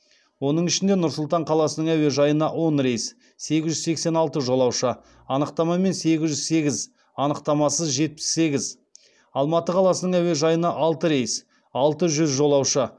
оның ішіне нұр сұлтан қаласының әуежайына он рейс сегіз жүз сексен алты жолаушы анықтамамен сегіз жүз сегіз анықтамасыз жетпіс сегіз алматы қаласының әуежайына алты рейс алты жүз жолаушы